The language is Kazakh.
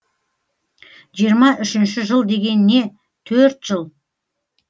жиырма үшінші жыл деген не төрт жыл